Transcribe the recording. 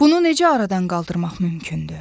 Bunu necə aradan qaldırmaq mümkündür?